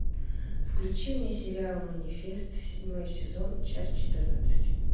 включи мне сериал манифест седьмой сезон часть четырнадцать